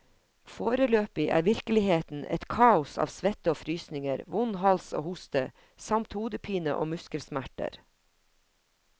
Foreløpig er virkeligheten et kaos av svette og frysninger, vond hals og hoste, samt hodepine og muskelsmerter.